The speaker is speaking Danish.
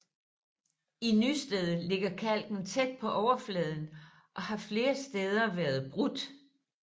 I Nysted ligger kalken tæt på overfladen og har flere steder været brudt